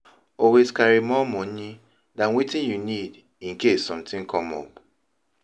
Always carry more money than wetin you need in case something come up